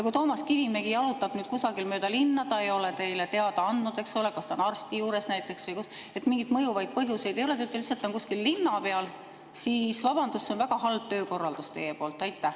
Kui Toomas Kivimägi jalutab nüüd kusagil mööda linna, ta ei ole teile teada andnud, eks ole, kas ta on arsti juures näiteks või kus, mingeid mõjuvaid põhjuseid ei ole, ta on lihtsalt kuskil linna peal, siis vabandust, see on teie väga halb töökorraldus.